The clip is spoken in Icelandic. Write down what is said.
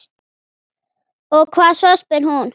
Og hvað svo, spyr hún.